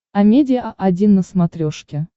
амедиа один на смотрешке